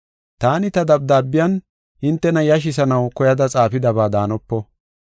Taani ta dabdaabiyan hintena yashisanaw koyada xaafidaba daanopo.